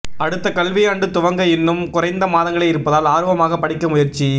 அடுத்த கல்வியாண்டு துவங்க இன்னும் குறைந்த மாதங்களே இருப்பதால் ஆர்வமாக படிக்க முயற்சி